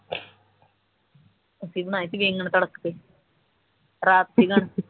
ਅਸੀਂ ਬਣਾਏ ਸੀ ਤੜਖ ਕੇ ਰਾਤ